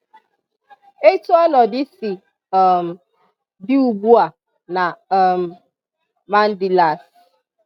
Etu ọnọdụ si um dị ugbua na um Mandilas